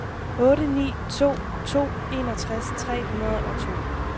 otte ni to to enogtres tre hundrede og to